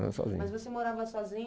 Morava sozinho. Mas você morava sozinho